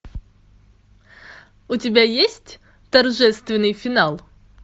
у тебя есть торжественный финал